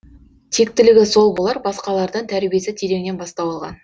тектілігі сол болар басқалардан тәрбиесі тереңнен бастау алған